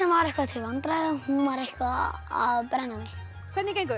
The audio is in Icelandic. var eitthvað til vandræða hún var eitthvað að brenna mig hvernig gengur